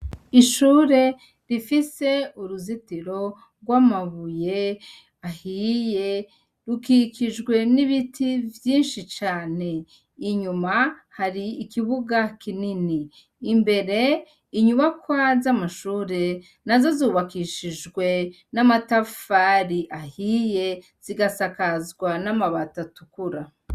Ishure, rifise uruzitiro rw'amabuye ahiye, rikikijwe n'ibiti vyinshi cane. Inyuma hariyo n'ikibuga kinini .Imbere inyubakwa z'amashure zubakishijee n'amatari ahiye, zigasakazwa n'amabuye atukura.